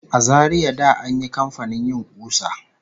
A Zaria da an yi kamfanin yin ƙusa